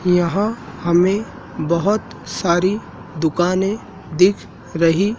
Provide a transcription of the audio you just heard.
यहां हमें बहोत सारी दुकानें दिख रही--